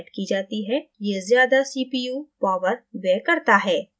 ये ज्यादा cpu power व्यय करता है